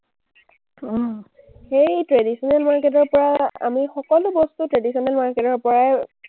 সেই traditional market ৰ পৰা আমি সকলো বস্তু traditional market পৰাই